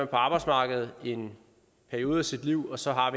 på arbejdsmarkedet i en periode sit liv og så har